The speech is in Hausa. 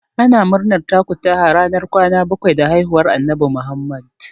Ana murnan takutaha ranar kwana bakwai da haihuwar Annabi Muhammadu.